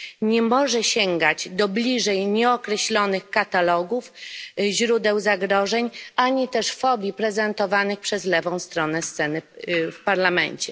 Nie może sięgać do bliżej nieokreślonych katalogów źródeł zagrożeń ani też fobii prezentowanych przez lewą stronę sceny w Parlamencie.